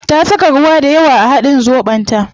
Ta saka ruwa dayawa a hadin zobon ta